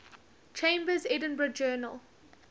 chambers's edinburgh journal